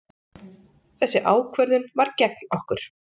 Þessi ákvörðun var gegn okkur.